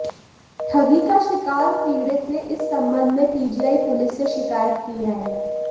ठगी का शिकार पीडि़त ने इस संबंध में पीजीआई पुलिस से शिकायत की है